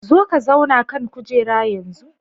Zo ka zauna a kan kujera yanzu.